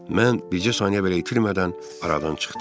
Mən bircə saniyə belə itirmədən aradan çıxdım.